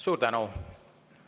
Suur tänu!